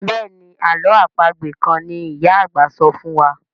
Béèni àlọ́ àpagbè kán ní ìyá àgbà sọfún wá.